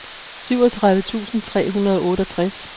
syvogtredive tusind tre hundrede og otteogtres